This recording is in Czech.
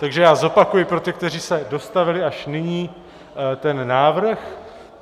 Takže já zopakuji pro ty, kteří se dostavili až nyní, ten návrh.